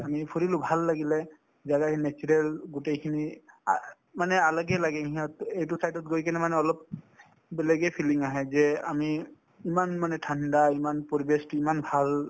আমি ফুৰিলো ভাল লাগিলে জাগাখিনি natural গোটেইখিনি আ মানে আলাগে আলাগে সিহঁতে এইটো side ত গৈ কিনে মানে অলপ বেলেগে feeling আহে যে আমি ইমান মানে ঠাণ্ডা ইমান পৰিৱেশটো ইমান ভাল